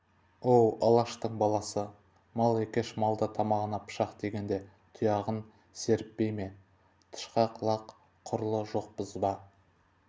оу алаштың баласы мал екеш мал да тамағына пышақ тигенде тұяғын серіппей ме тышқақ лақ құрлы жоқпыз ба